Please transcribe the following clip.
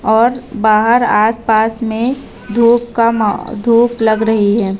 और बाहर आसपास में धूप का मा धूप लग रही है।